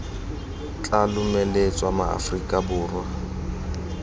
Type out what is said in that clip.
tla lomeletsa ma aforika borwa